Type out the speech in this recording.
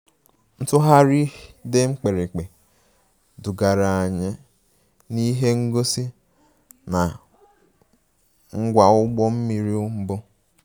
Ntugharị dị mkpirikpi dugara anyị n'ihe ngosi na ngwa ụgbọ mmiri mbụ